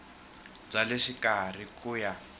bya le xikarhi ku ya